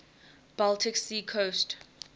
baltic sea coast